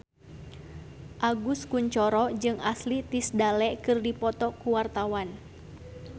Agus Kuncoro jeung Ashley Tisdale keur dipoto ku wartawan